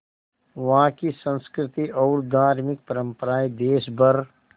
वहाँ की संस्कृति और धार्मिक परम्पराएं देश भर